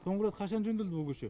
соңғы рет қашан жөнделді бұл көше